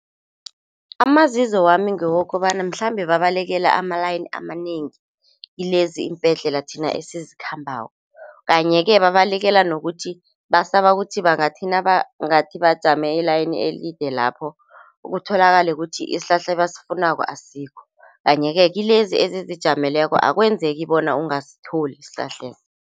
Amazizo wami ngowokobana mhlambe babalekela ama-line amanengi kilezi iimbhedlela thina esizikhambako. Kanye-ke babalekela nokuthi basaba ukuthi bangathi nabajame i-line elide lapho kutholakale kuthi isihlahla ebasifunako asikho. Kanye-ke kilezi ezizijameleko akwenzeki bona ungasitholi isihlahleso.